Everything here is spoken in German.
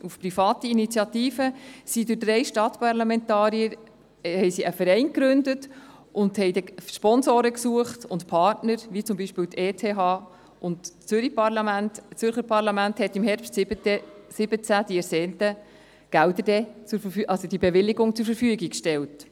Auf private Initiative hin haben drei Stadtparlamentarier einen Verein gegründet und dann Sponsoren und Partner gesucht, wie beispielsweise die ETH, und im Herbst 2017 hat das Zürcher Parlament die ersehnten Gelder, also die Bewilligung, zur Verfügung gestellt.